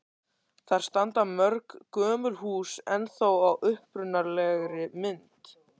Þar standa mörg gömul hús ennþá í upprunalegri mynd.